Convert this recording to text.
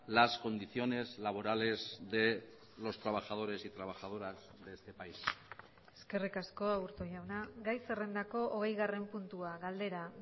las condiciones laborales de los trabajadores y trabajadoras de este país eskerrik asko aburto jauna gai zerrendako hogeigarren puntua galdera